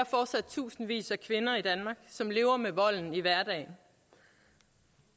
fortsat tusindvis af kvinder i danmark som lever med volden i hverdagen